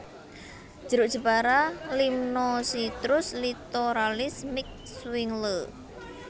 Jeruk Jepara Limnocitrus Littoralis miq Swingle